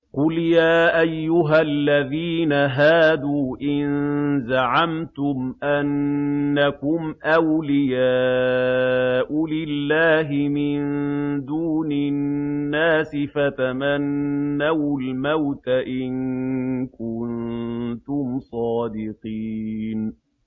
قُلْ يَا أَيُّهَا الَّذِينَ هَادُوا إِن زَعَمْتُمْ أَنَّكُمْ أَوْلِيَاءُ لِلَّهِ مِن دُونِ النَّاسِ فَتَمَنَّوُا الْمَوْتَ إِن كُنتُمْ صَادِقِينَ